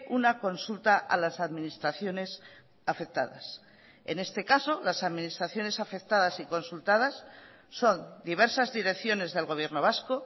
una consulta a las administraciones afectadas en este caso las administraciones afectadas y consultadas son diversas direcciones del gobierno vasco